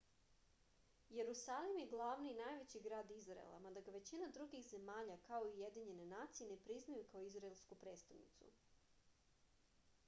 jerusalim je glavni i najveći grad izraela mada ga većina drugih zemalja kao i ujedinjene nacije ne priznaju kao izraelsku prestonicu